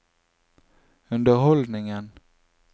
underholdningen